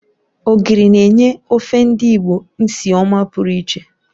Ogiri na-enye ofe ndị Igbo nsị ọma pụrụ iche